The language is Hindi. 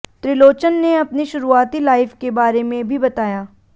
त्रिलोचन ने अपनी शुरुआती लाइफ के बारे में भी बताया